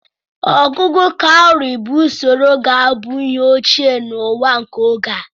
ọgugu káwùrị bu usoro ga-abụ ihe ochie na ụwa nke oge a